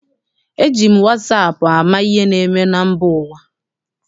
Eji m wasaapụ ama ihe na-eme na mba ụwa.